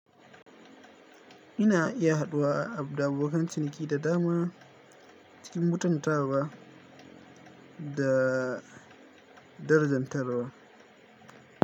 Ina iya haɗuwa da abokan ciniki da dama cikin mutun tawa da darajar tarwa.